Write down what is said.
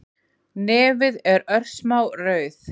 Nefið er örsmá rauð